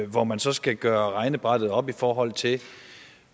hvor man så skal gøre regnebrættet op i forhold til